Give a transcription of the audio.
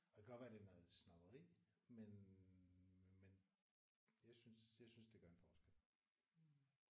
Og det kan godt være at det er noget snobberi men men jeg synes jeg synes det gør en forskel